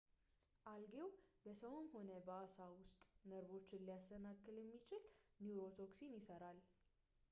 አልጌው በሰውም ሆነ በአሳ ውስጥ ነርቮችን ሊያሰናክል የሚችል ኒውሮቶክሲን ይሠራል